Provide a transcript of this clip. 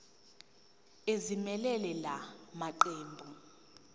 ezimelele la maqembu